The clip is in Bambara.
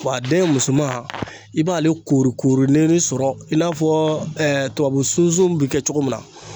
Wa a den musoman i b'ale korokoronen de sɔrɔ i n'a fɔɔ tubabu sunsun bi kɛ cogo min na